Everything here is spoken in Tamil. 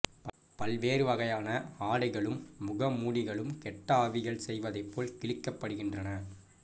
பல்வேறு வகையான ஆடைகளும் மூகமூடிகளும் கெட்ட ஆவிகள் செய்வதைப் போல கிழிக்கப்படுகின்றன